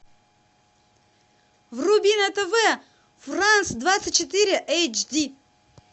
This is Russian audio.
вруби на тв франц двадцать четыре эйч ди